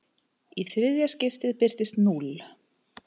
Í þriðja skiptið birtist núll.